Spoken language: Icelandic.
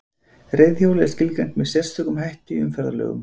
Reiðhjól er skilgreint með sérstökum hætti í umferðarlögum.